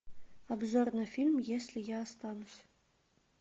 обзор на фильм если я останусь